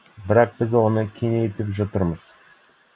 бірақ біз оны кеңейтіп жатырмыз